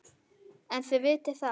En þið vitið það.